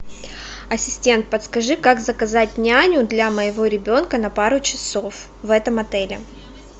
ассистент подскажи как заказать няню для моего ребенка на пару часов в этом отеле